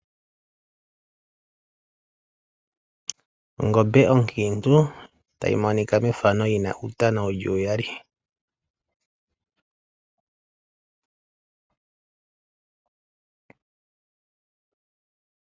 Ongombe onkintu tayi monika methano yina uutana wuli uyali.